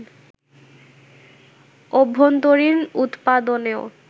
অভ্যন্তরীন উৎপাদনেও